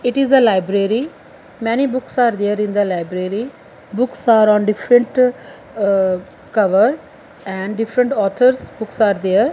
it is a library many books are there in the library books are on different ahh cover and different authors books are there.